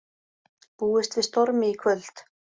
Búist við stormi í kvöld